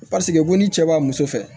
Paseke ko ni cɛ b'a muso fɛ